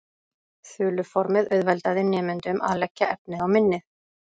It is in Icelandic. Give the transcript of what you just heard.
Þuluformið auðveldaði nemendunum að leggja efnið á minnið.